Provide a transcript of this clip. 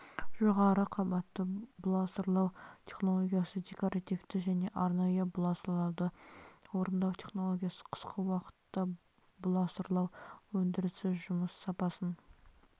жоғары қабатты бұласырлау технологиясы декоративті және арнайы бұласырлауды орындау технологиясы қысқы уақытта бұласырлау өндірісі жұмыс сапасын